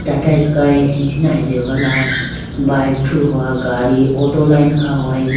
Tatasky antenna atehogala bike thruhowa gadi auto line khahowayibo.